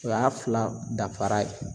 O y'a fila dafara ye.